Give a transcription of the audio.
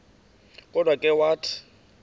kodwa ke wathi